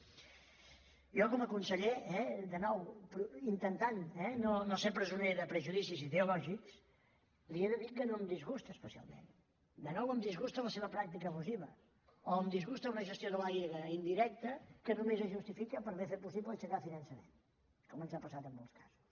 jo com a conseller eh de nou intentant no ser presoner de prejudicis ideològics li he de dir que no em disgusta especialment de nou em disgusta la seva pràctica abusiva o em disgusta una gestió de l’aigua indirecta que només es justifica per haver fet possible aixecar finançament com ens ha passat en molts casos